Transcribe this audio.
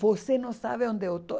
Você não sabe onde eu estou.